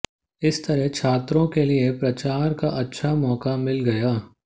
इस तरह छात्रों के लिए प्रचार का अच्छा मौका मिल गया